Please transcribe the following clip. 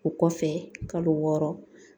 O kɔfɛ kalo wɔɔrɔ